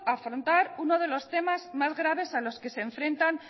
afrontar uno de los temas más graves a los que se enfrentan